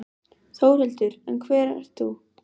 Þórhildur: En hver ert þú?